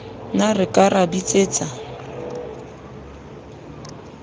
ne re ka ra bitsetsa